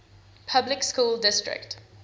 public school district